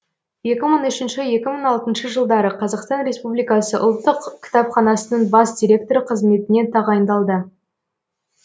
екі мың үшінші екі мың алтыншы жылдары қазақстан республикасы ұлттық кітапханасының бас директоры қызметіне тағайындалды